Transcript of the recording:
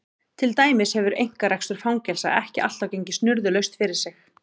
Til dæmis hefur einkarekstur fangelsa ekki alltaf gengið snurðulaust fyrir sig.